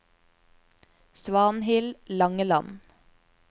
Svanhild Langeland